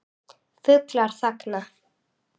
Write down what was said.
Fuglar þagna.